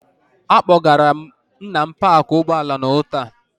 Akpọgara m Nna m paakị ụgbọala n'ụtụtụ a.